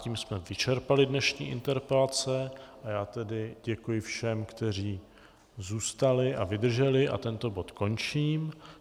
Tím jsme vyčerpali dnešní interpelace a já tedy děkuji všem, kteří zůstali a vydrželi, a tento bod končím.